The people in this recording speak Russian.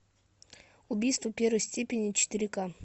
убийство первой степени четыре ка